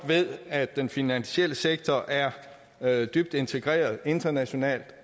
at den finansielle sektor er er dybt integreret internationalt